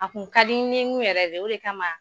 A tun ka di n nin yɛrɛ de ye , o de kama